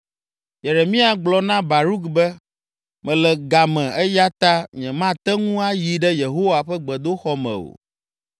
Yeremia gblɔ na Baruk be, “Mele ga me eya ta nyemate ŋu ayi ɖe Yehowa ƒe gbedoxɔ me o.